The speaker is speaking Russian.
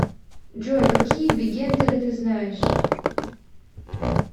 джой какие бигендеры ты знаешь